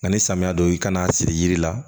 Nka ni samiya don i kan'a siri yiri la